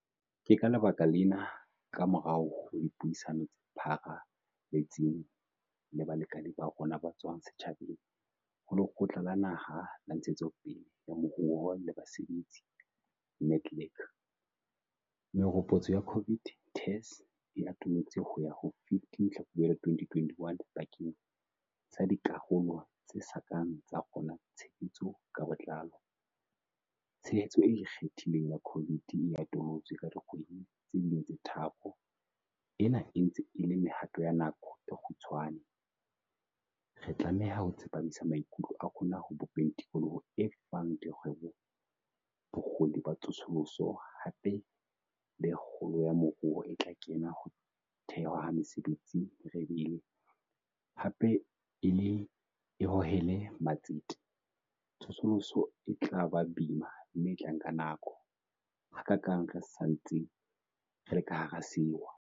Ke ka lebaka lena, kamorao ho dipuisano tse pharaletseng le balekane ba rona ba tswang setjhabeng ho Lekgotla la Naha la Ntshetsopele ya Moruo le Basebetsi, NEDLAC, meropotso ya COVID TERS e atolotswe ho ya ho 15 Tlhakubele 2021 bakeng sa dikarolo tse sa kang tsa kgona tshebetso ka botlalo. Tshehetso e ikgethileng ya COVID e atolotswe ka dikgwedi tse ding tse tharo. Ena e ntse e le mehato ya nako e kgutshwane. Re tlameha ho tsepamisa maikutlo a rona ho bopeng tikoloho e fang dikgwebo bokgoni ba tsosoloso, hape le kgolo ya moruo e tla kenya ho thewa ha mesebetsi merebele, hape e le e hohele matsete. Tsosoloso e tla ba boima mme e tla nka nako, hakaakang re sa ntse re le ka hara sewa.